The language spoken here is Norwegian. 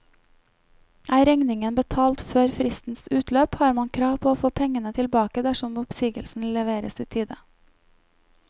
Er regningen betalt før fristens utløp, har man krav på å få pengene tilbake dersom oppsigelsen leveres i tide.